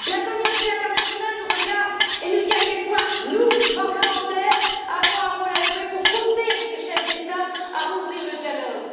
La communauté internationale nous regarde et nous dit à quel point nous, parlementaires, avons un rôle à jouer pour pousser les chefs d'État à rouvrir le dialogue.